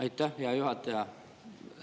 Aitäh, hea juhataja!